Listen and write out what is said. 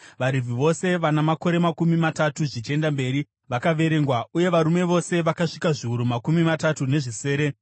VaRevhi vose vana makore makumi matatu zvichienda mberi vakaverengwa, uye varume vose vakasvika zviuru makumi matatu nezvisere.